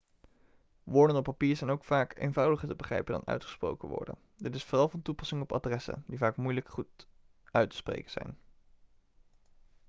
woorden op papier zijn ook vaak eenvoudiger te begrijpen dan uitgesproken woorden dit is vooral van toepassing op adressen die vaak moeilijk goed uit te spreken zijn